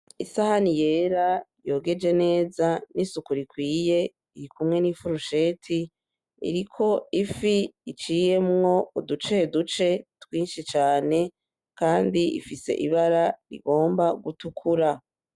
Isahani yera yogeje neza n'isuku ikwiye iri kumwe n'ifurusheti, iriko ifi iciyemwo uduceduce twinshi cane kandi ifise ibara rigomba gutukura.